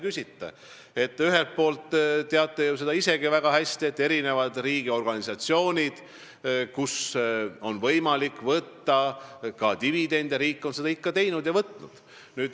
Ühelt poolt te teate ju isegi väga hästi, et nendest riigiorganisatsioonidest, kust on võimalik võtta ka dividendi, on riik seda ikka võtnud.